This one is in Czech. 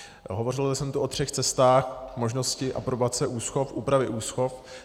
Hovořil jsem tu o třech cestách možnosti aprobace úschov, úpravy úschov.